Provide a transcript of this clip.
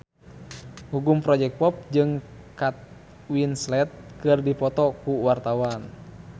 Gugum Project Pop jeung Kate Winslet keur dipoto ku wartawan